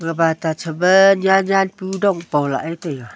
bat aa chapa nyan nyan pu dong pa lah e taiga.